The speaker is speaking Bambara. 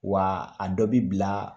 Wa a dɔ bi bila